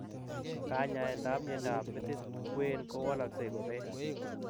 Kanyaet ap miondop metit kween kowalaksei kopee